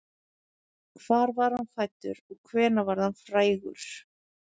Hvar var hann fæddur og hvenær varð hann frægur?